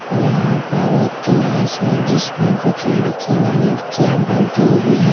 यहां पर एक क्लास है जिसमें कुछ लड़के और लड़कियां बैठी हुई है ।